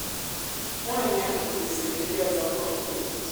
nwanyi ahụ kuziri ndi ọzọ kọmpost